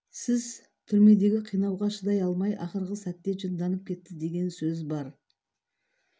сіз түрмедегі қинауға шыдай алмай ақырғы сәтте жынданып кетті деген сөз бар